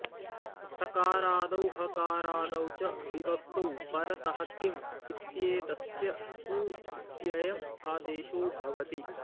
तकारादौ हकारादौ च विभक्तौ परतः किम् इत्येतस्य कु इत्ययम् आदेशो भवति